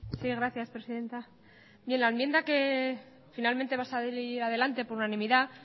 sí gracias presidenta bien la enmienda que finalmente va a salir adelante por unanimidad